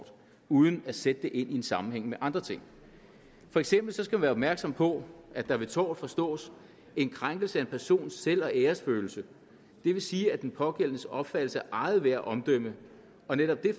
uden at sætte det ind i en sammenhæng med andre ting for eksempel skal man være opmærksom på at der ved tort forstås en krænkelse af en persons selv og æresfølelse det vil sige den pågældendes opfattelse af eget værd og omdømme og netop det